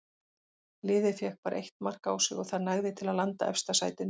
Liðið fékk bara eitt mark á sig og það nægði til að landa efsta sætinu.